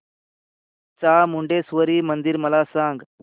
चामुंडेश्वरी मंदिर मला सांग